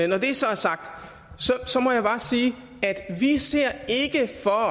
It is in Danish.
når det så er sagt må jeg bare sige at vi ikke ser at